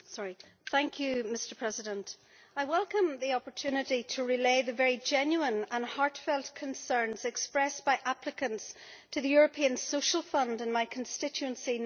Mr President, I welcome the opportunity to relay the very genuine and heartfelt concerns expressed by applicants to the European Social Fund in my constituency in Northern Ireland.